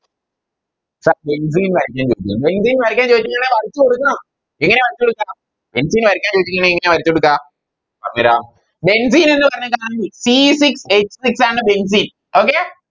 Sir benzene വരക്കാൻ ചോയിച്ചു Benzene വരക്കാൻ ചോയിച്ചിറ്റുണ്ടേൽ വരച്ച് കൊടുക്കണം എങ്ങനെയാ വരച്ചോടുക്ക Benzene വരക്കാൻ ചോയിച്ചിക്കിണ്ടേൽ എങ്ങനെയാ വരച്ചോടുക്ക ആ പറ Benzene ന്ന് പറഞ്ഞതാണെങ്കിൽ C sic h six ആണ് Benzene